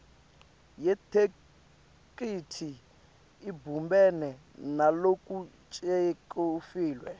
yetheksthi ibumbene nalokucuketfwe